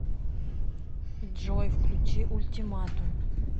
джой включи ультиматум